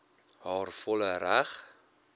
haar volle reg